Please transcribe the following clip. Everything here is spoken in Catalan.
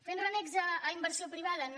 fent renecs a inversió privada no